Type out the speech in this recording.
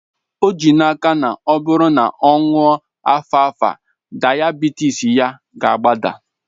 O ji n'aka na ọ bụrụ na ọ ṅụọ alfalfa, dayabitis ya ga-agbada